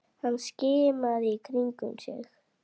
Hann skimaði í kringum sig.